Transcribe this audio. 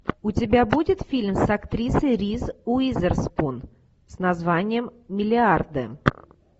у тебя будет фильм с актрисой риз уизерспун с названием миллиарды